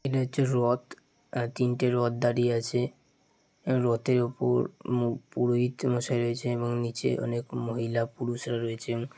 এটা হচ্ছে রথ তিনটে রথ দাঁড়িয়ে আছে রথের উপর মুক পুরোহিত মশাই রয়েছে এবং নিচে অনেক মহিলা পুরুষরা রয়েছে।